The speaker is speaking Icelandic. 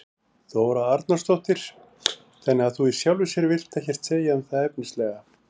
Þóra Arnórsdóttir: Þannig að þú í sjálfu sér vilt ekkert segja um þær efnislega?